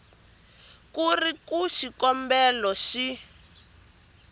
ku ri ku xikombelo xi